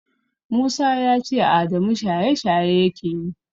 Musa ya ce Adamu shaye-shaye yake yi